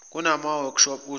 kunama workshop osuku